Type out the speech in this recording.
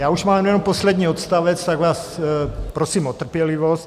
Já už mám jenom poslední odstavec, tak vás prosím o trpělivost.